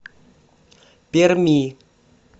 перми